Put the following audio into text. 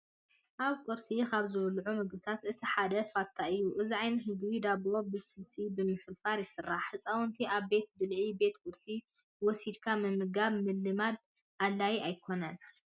ኣብ ቁርሲ ካብ ዝብልዑ ምግብታት እቲ ሓደ ፋታ እዩ። እዚ ዓይነት ምግቢ ዳቦ ብስልሲ ብምፍርፋር ይስራሕ። ህፃውንቲ ኣብ ቤት ብልዒ (ቤት ቁርሲ) ወሲድኻ ምምጋብ ምልማድ ኣድላይ ኣይኾነን።